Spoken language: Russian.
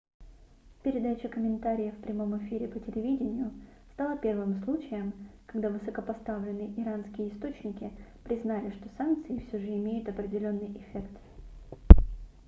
передача комментариев в прямом эфире по телевидению стала первым случаем когда высокопоставленные иранские источники признали что санкции всё же имеют определенный эффект